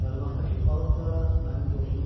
Qarmaqdakı balıq da mənim dostumdur.